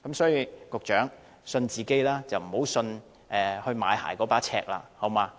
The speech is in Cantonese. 所以，請局長相信自己，不要相信買鞋的那把尺。